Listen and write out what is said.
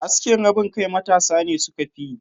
Askin rabin kai matasa ne suka fiyi.